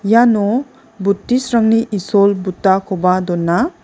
iano buddhist-rangni isol buddha-koba dona.